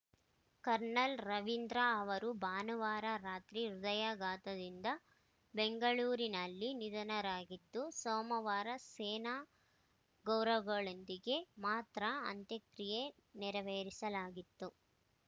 kernel Ravindra ಅವರು ಭಾನುವಾರ ರಾತ್ರಿ ಹೃದಯಾಘಾತದಿಂದ ಬೆಂಗಳೂರಿನಲ್ಲಿ ನಿಧನರಾಗಿದ್ದು ಸೋಮವಾರ ಸೇನಾ ಗೌರವಗಳೊಂದಿಗೆ ಮಾತ್ರ ಅಂತ್ಯಕ್ರಿಯೆ ನೆರವೇರಿಸಲಾಗಿತ್ತು